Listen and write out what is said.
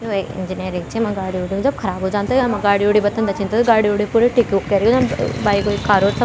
यु एक इंजीनियरिंग च येमा गाड़ी-उड़ी जब ख़राब वे जान्द त यमा गाड़ी-उड़ी बथंदा छिन त गाडी उडी पूरी ठीक-उक केरिकिन बाइक उइक कार और --